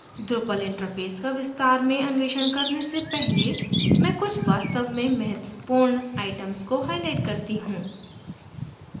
drupal interface का विस्तार में अन्वेषण करने से पहले मैं कुछ वास्तव में महत्वपूर्ण आइटम्स को highlight करती हूँ